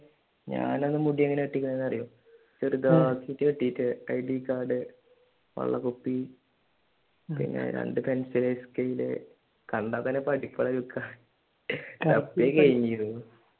ഞാൻ അന്ന് മുടി എങ്ങനെ വെട്ടിയിരിക്കുന്നത് എന്ന് അറിയുമോ? ചെറുതാക്കി വെട്ടിയിട്ട് IDcard വെള്ളക്കുപ്പി പിന്നെ രണ്ട് പെൻസില് സ്കെയില്‍ കണ്ടാൽ തന്നെ പഠിപ്പ് ഉള്ള ലുക്ക് തപ്പി കഴിഞ്ഞിരുന്നു.